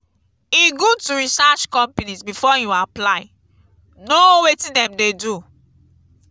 e good to research companies before you apply; know wetin dem dey do.